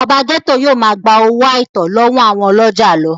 ọba gẹ́tò yóò máa gbowó àìtọ́ lọ́wọ́ àwọn ọlọ́jà lọ